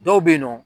Dɔw bɛ yen nɔ